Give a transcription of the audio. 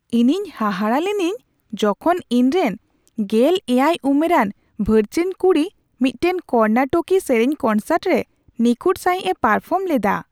ᱤᱧᱤᱧ ᱦᱟᱦᱟᱲᱟᱜ ᱞᱤᱱᱟᱹᱧ ᱡᱚᱠᱷᱚᱱ ᱤᱧᱨᱮᱱ ᱑᱗ ᱩᱢᱮᱨᱟᱱ ᱵᱷᱟᱹᱪᱟᱹᱧ ᱠᱩᱲᱤ ᱢᱤᱫᱴᱟᱝ ᱠᱚᱨᱱᱟᱴᱚᱠᱤ ᱥᱮᱨᱮᱧ ᱠᱚᱱᱥᱟᱨᱴ ᱨᱮ ᱱᱤᱠᱷᱩᱴ ᱥᱟᱹᱦᱤᱡᱮ ᱯᱟᱨᱯᱷᱚᱨᱢ ᱞᱮᱫᱟ ᱾